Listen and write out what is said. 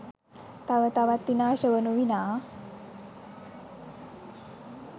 තව තවත් විනාශ වනු විනා